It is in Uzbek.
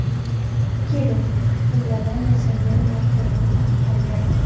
Kelin tilladan yasalgan marjonni taqib olgan.